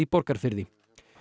Borgarfirði